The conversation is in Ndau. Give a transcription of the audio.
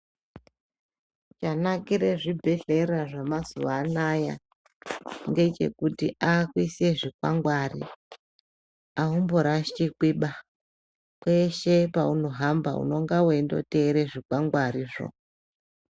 Chanakire zvibhedhlera zvemazhwa anaya ngechekuti akuise zvikwangwari aumborashikiba kweshe paunohamba unenge weindoteere zvikwangwarizvo.